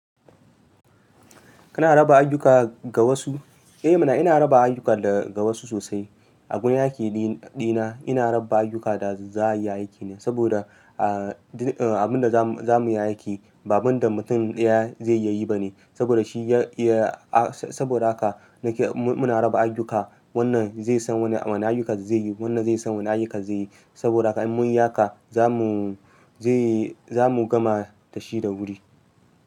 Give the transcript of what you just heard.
Kana raba ayyuka ga wasu? Eh muna, ina raba ayyuka ga wasu sosai. A gun run aiki ɗina ina raba ayyuka da za a yi aiki ne saboda, a abin da za mu yi aiki ba abin da mutum ɗaya zai yi ba ne saboda shi ya, saboda haka nake muna raba ayyuka. Wannan zai san wane ayyuka zai yi, wannan zai san wane ayyuka zai yi. Saboda haka in mun yi haka za mu, zai yi, za mu gama dashi da wuri.